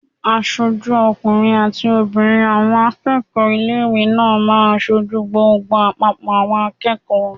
Aṣojú ọkùnrin àti obìnrin àwọn akẹ́kọ̀ọ́ ilé-ìwé náà máa n sojú gbogbo àpapọ̀ àwọn akẹ́kọ̀ọ́